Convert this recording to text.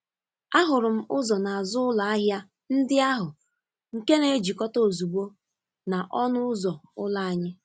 Ahụrụ m ụzọ n’azụ ụlọ ahịa ndị ahụ nke na-ejikọta ozugbo na ọnụ ụzọ ụlọ anyị.